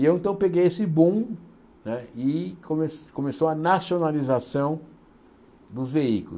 E eu então peguei esse boom né e come começou a nacionalização dos veículos.